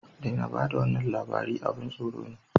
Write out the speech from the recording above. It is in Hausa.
Daina ba da wannan labari, abin tsoro ne